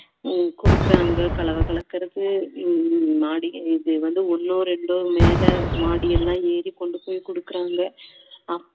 உம் கொடுக்குறாங்க கலவை கலக்குறது உம் மாடி ஒன்னோ ரெண்டோ மேல மாடியெல்லாம் ஏறி கொண்டு போயி கொடுக்குறாங்க